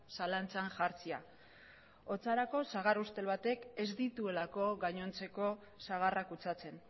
zalantzan jartzea horretarako sagar ustel batek ez dituelako gainontzeko sagarrak kutsatzen